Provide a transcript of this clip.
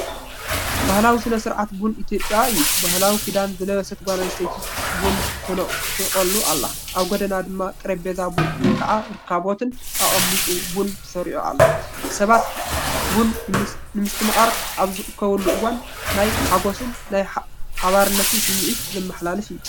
ባህላዊ ስነ-ስርዓት ቡን ኢትዮጵያ እዩ። ባህላዊ ክዳን ዝለበሰት ጓል ኣንስተይቲ ቡን ትቖሉ ኣላ፡ ኣብ ጎድና ድማ ጠረጴዛ ቡን (ረከቦት)ን ኣቕሑ ቡንን ተሰሪዑ ኣሎ። ሰባት ቡን ንምስትምቓር ኣብ ዝእከቡሉ እዋን ናይ ሓጎስን ናይ ሓባርነትን ስምዒት ዘመሓላልፍ እዩ።